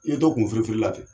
Iye to kunfirifirila ten